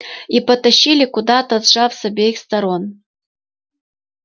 и потащили куда-то сжав с обеих сторон